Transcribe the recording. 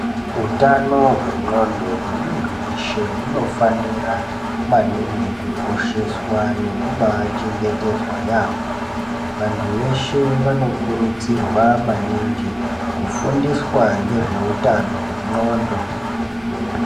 Utano hwendxondo hwemuntu weshe hunofanira maningi kukosheswa nekubachengetedzwa yaamho. Vanhu veshe vanokurudzirwa maningi kufundiswa ngezveutano hwendxondo.